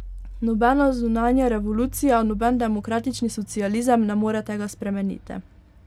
Nobena zunanja revolucija, noben demokratični socializem ne more tega spremeniti.